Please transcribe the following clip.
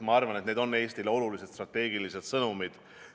Ma arvan, et need on Eestile olulised strateegilised sõnumid.